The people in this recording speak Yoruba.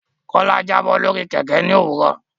Kola Jabo lórí Kẹ̀kẹ́ ní òwúrọ̀.